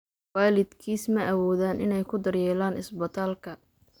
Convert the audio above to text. Waalidkiis ma awoodaan inay ku daryeelaan isbitaalka.